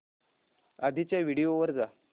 आधीच्या व्हिडिओ वर जा